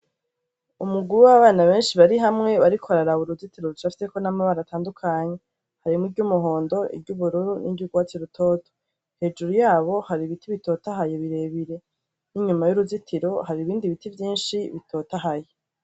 Umugwi w'abana benshi bari hamwe bariko bararaba uruzitiro rucafyeko n'amabara menshi atandukanye. Harimwo iryo umuhondo, iryo ubururu, iryo urwatsi rutoto. Hejuru yabo hari ibiti bitotahaye birebire. N'inyuma y'uruzitiro hari ibindi biti vyinshi bitotahaye.